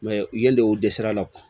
u ye dɔ dɛsɛ a la